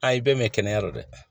Aa i bɛɛ mɛn kɛnɛya don dɛ